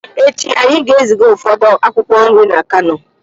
Echi anyị ga-eziga ụfọdụ akwụkwọ nri na kano